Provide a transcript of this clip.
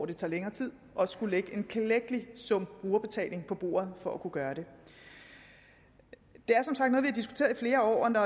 det tog længere tid også skulle lægge en klækkelig sum brugerbetaling på bordet for at kunne gøre det det er som sagt har diskuteret i flere år når